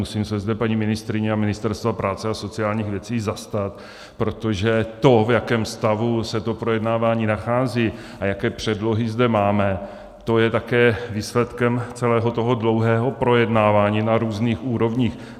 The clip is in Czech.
Musím se zde paní ministryně a Ministerstva práce a sociálních věcí zastat, protože to, v jakém stavu se to projednávání nachází a jaké předlohy zde máme, to je také výsledkem celého toho dlouhého projednávání na různých úrovních.